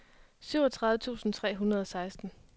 syvogtredive tusind tre hundrede og seksten